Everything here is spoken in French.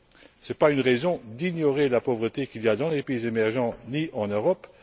Ce n'est pas une raison pour ignorer la pauvreté qu'il y a dans les pays émergents et en Europe.